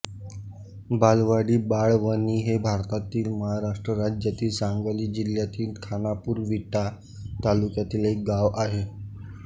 बालवाडी भाळवणी हे भारतातील महाराष्ट्र राज्यातील सांगली जिल्ह्यातील खानापूर विटा तालुक्यातील एक गाव आहे